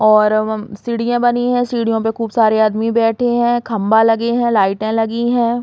और अवम सीढियां बनी है। सीढ़ियों पे खूब सारे आदमी बैठे हैं खम्बा लगे हैं लाइटे लगी हैं।